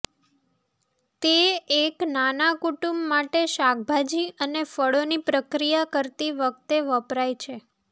તે એક નાના કુટુંબ માટે શાકભાજી અને ફળોની પ્રક્રિયા કરતી વખતે વપરાય છે